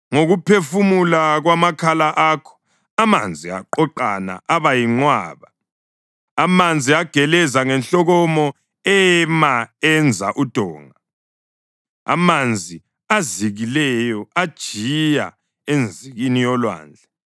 Ngokuphefumula kwamakhala akho amanzi aqoqana aba yinqwaba. Amanzi ageleza ngenhlokomo ema enza udonga; amanzi azikileyo ajiya enzikini yolwandle.